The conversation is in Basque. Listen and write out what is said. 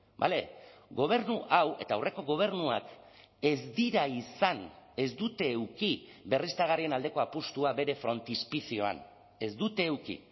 vale gobernu hau eta aurreko gobernuak ez dira izan ez dute eduki berriztagarrien aldeko apustua bere frontispizioan ez dute eduki